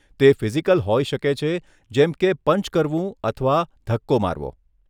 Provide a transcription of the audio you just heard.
તે ફિઝિકલ હોય શકે છે જેમ કે પંચ કરવું અથવા ધક્કો મારવો.